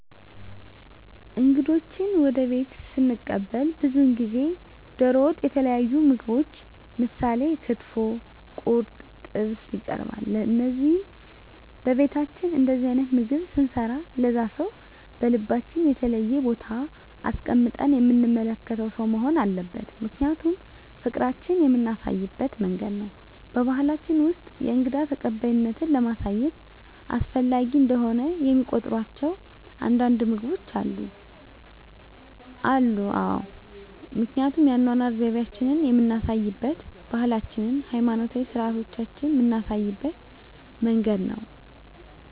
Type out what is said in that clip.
እንግዶችዎን ወደ ቤትዎ ስንቀበል ብዙውን ጊዜ ደሮ ወጥ የተለያዩ ምግቦች ምሳሌ ክትፎ ቁርጥ ጥብስ ይቀርባል ለዚህም በቤታችን እንደዚህ አይነት ምግብ ስንሰራ ለዛ ሰው በልባችን የተለየ ቦታ አስቀምጠን የምንመለከተው ሰው መሆን አለበት ምክንያቱም ፍቅራችን የምናሳይበት መንገድ ነው በባሕላችን ውስጥ የእንግዳ ተቀባይነትን ለማሳየት አስፈላጊ እንደሆነ የሚቆጥሯቸው አንዳንድ ምግቦች አሉ? አዎ አሉ ምክንያቱም የአኗኗር ዘይቤአችንን የምናሳይበት ባህላችንን ሀይማኖታዊ ስርአቶቻችንን ምናሳይበት መንገድ ነው